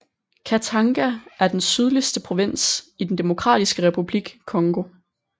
Katanga er den sydligste provins i den Demokratiske Republik Congo